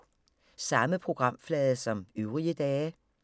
Samme programflade som øvrige dage